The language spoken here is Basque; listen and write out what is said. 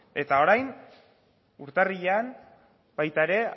eta orain urtarrilean baita ere